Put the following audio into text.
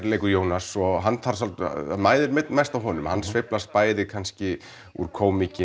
leikur Jónas og hann þarf svolítið það mæðir mest á honum hann sveiflast bæði kannski úr kómík